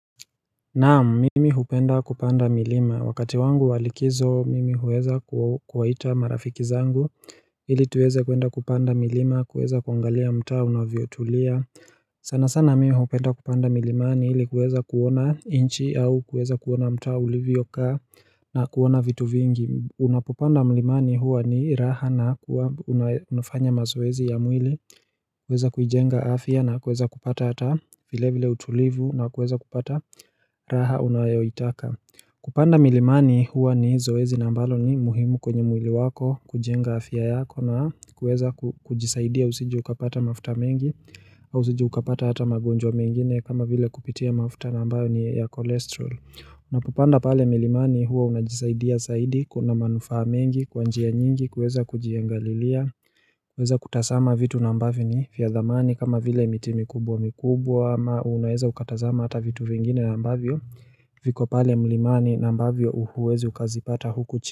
Naam mimi hupenda kupanda milima wakati wangu walikizo mimi huweza kuwaita marafiki zangu. Hili tuweze kwenda kupanda milima kuweza kwangalia mtaa una vyotulia. Sana sana mimi hupenda kupanda milimani hili kuweza kuona inchi au kuweza kuona mtaa livyoka na kuona vitu vingi Unapopanda milimani huwa ni raha na huwa una. Unafanya mazoezi ya mwili, uweza kujenga afia na kueza kupata hata vile vile utulivu na kueza kupata raha unayoitaka. Kupanda milimani huwa ni zoezi na mbalo ni muhimu kwenye mwili wako kujenga afia yako na kueza kujisaidia usiji ukapata mafuta mengi, au usiji ukapata hata magonjwa mengine kama vile kupitia mafuta nambayo ni ya kolesterol. Unapopanda pale milimani huwa unajisaidia saidi, kuna manufahamengi, kwanjia nyingi, kuweza kujiangalilia, uweza kutasama vitu nambavyo ni vyadhamani kama vile miti mikubwa mikubwa ama unaweza ukatazama hata vitu vingine nambavyo, viko pale milimani nambavyo uhuwezi ukazipata huku chini.